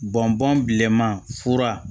Bɔn bɔn bilenman fura